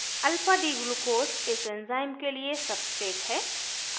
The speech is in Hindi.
alphadglucose इस enzyme के लिए substrate है